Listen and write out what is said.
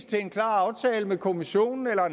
til en klar aftale med kommissionen eller